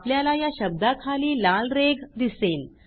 आपल्याला या शब्दाखाली लाल रेघ दिसेल